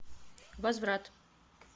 возврат